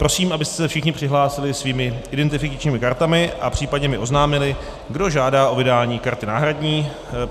Prosím, abyste se všichni přihlásili svými identifikačními kartami a případně mi oznámili, kdo žádá o vydání karty náhradní.